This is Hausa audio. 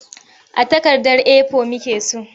A takardar A4 muke so.